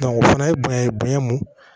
o fana bonya ye bonya mun ye